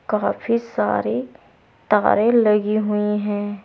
काफी सारे तारें लगी हुई हैं।